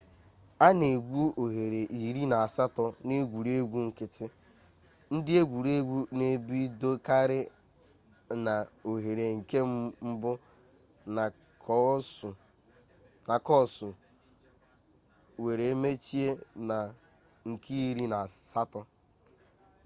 a na-egwu oghere iri na-asato na egwuregwu nkiti ndi egwuregwu n'ebidokari na oghere nke mbu na koosu were mechie na nke iri na-asato